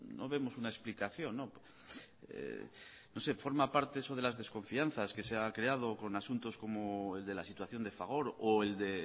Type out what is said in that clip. no vemos una explicación no sé forma parte eso de las desconfianzas que se ha creado con asuntos como el de la situación de fagor o el de